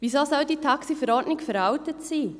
Weshalb soll die TaxiV veraltet sein?